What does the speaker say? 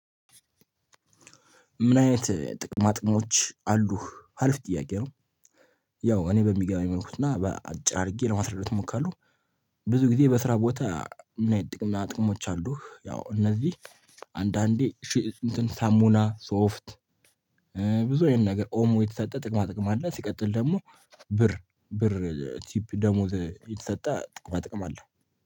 ምን አይነት ጥቅማጥቅሞች አሉህ አሪፍ ጥያቄ ነው? ያው እኔ በሚገባኝ መልኩና በአጭር አድርጌ ለማስረዳት እሞክራለሁ። ብዙ ጊዜ በስራ ቦታ ምን አይነት ጥቅማጥቅሞች አሉህ? ያው እነዚህ አንዳንዴ ሺህ እንትን ሳሙና ሶፍት ብዙ አይነት ነገር ኦሞ የተሰጠ ጥቅማ ጥቅም አለ። ሲቀጥል ደግሞ ብር ብር ቲፕ ደሞዝ የተሰጠ ጥቅማ ጥቅም አለ